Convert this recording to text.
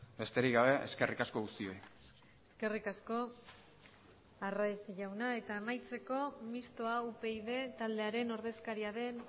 besterik gabe eskerrik asko guztioi eskerrik asko arraiz jauna eta amaitzeko mistoa upyd taldearen ordezkaria den